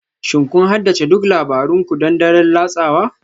Shin kun haddace duk labaran ku don daren latsawa?